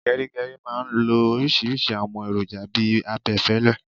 Gerigeri máa ń lo oríṣiríṣi àwọn èròjà bi abẹfẹlẹ